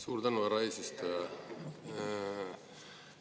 Suur tänu, härra eesistuja!